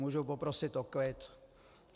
Můžu poprosit o klid?